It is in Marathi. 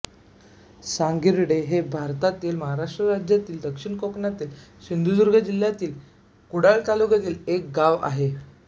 सांगिर्डे हे भारतातील महाराष्ट्र राज्यातील दक्षिण कोकणातील सिंधुदुर्ग जिल्ह्यातील कुडाळ तालुक्यातील एक गाव आहे